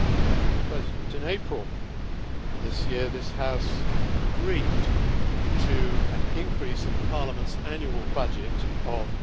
Mr President, in April this year this House agreed to an increase in the Parliament's annual budget of